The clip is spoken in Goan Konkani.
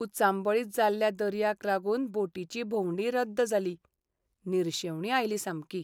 उचांबळीत जाल्ल्या दर्याक लागून बोटीची भोंवडी रद्द जाली. निरशेवणी आयली सामकी.